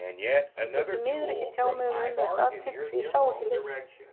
Ég get því miður ekki tjáð mig um umrætt atvik því ég sá ekki leikinn.